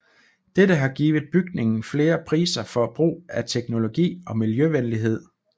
Dette har givet bygningen flere priser for brug af teknologi og miljøvenlighed